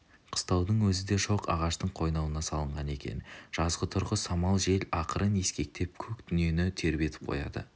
қыстаудың өзі де шоқ ағаштың қойнауына салынған екен жазғытұрғы самал жел ақырын ескектеп көк дүниені тербетіп қояды